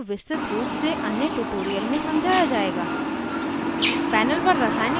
इस विशेषता को विस्तृत रूप से अन्य tutorial में समझाया जायेगा